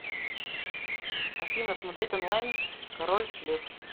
афина смотреть онлайн король лев